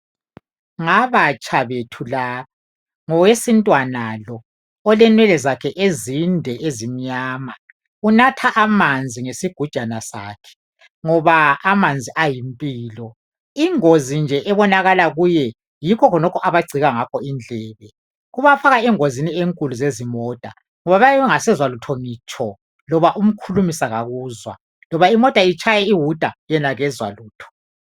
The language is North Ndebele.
Ngabantu abatsha laba ngowesintwana lo olenwele ezinde ezimnyama unatha amanzi ngesigujana sakakhe ngoba amanzi ayimpilo ingozi nje ebonakala kuye yikho khonokho abangcika ngakho indlebe kubafaka kakhulu engozini yezimota ngoba bayabe bengasezwa lutho ngitsho loba umkhulumisa akakuzwa loba imota itshaya iwuta yena akezwa lutho